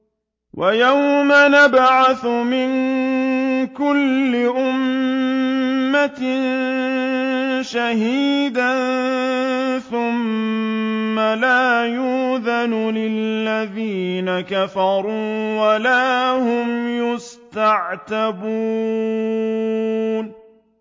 وَيَوْمَ نَبْعَثُ مِن كُلِّ أُمَّةٍ شَهِيدًا ثُمَّ لَا يُؤْذَنُ لِلَّذِينَ كَفَرُوا وَلَا هُمْ يُسْتَعْتَبُونَ